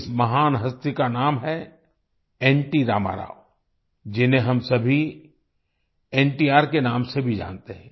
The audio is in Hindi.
इस महान हस्ती का नाम है एनटी रामाराव जिन्हें हम सभी एनटीआरNTR के नाम से भी जानते हैं